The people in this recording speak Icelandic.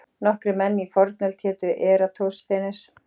Nokkrir menn í fornöld hétu Eratosþenes.